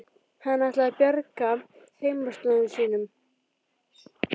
Hann ætlaði að bjarga heimaslóðum sínum.